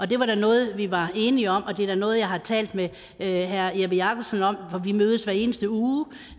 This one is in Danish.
det var da noget vi var enige om og det er noget jeg har talt med herre jeppe jakobsen om for vi mødes hver eneste uge og